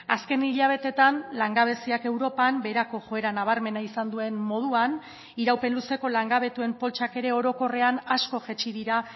azken hilabeteetan langabeziak europan beherako joera nabarmena izan duen moduan iraupen luzeko langabetuen poltsak ere orokorrean asko jaitsi dira